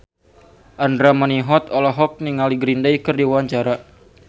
Andra Manihot olohok ningali Green Day keur diwawancara